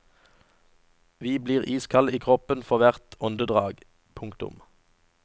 Vi blir iskalde i kroppen for hvert åndedrag. punktum